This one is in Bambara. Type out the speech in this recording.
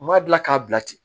U m'a dilan k'a bila ten